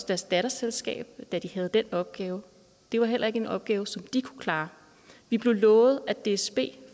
deres datterselskab da de havde den opgave det var heller ikke en opgave som de kunne klare vi blev lovet at dsb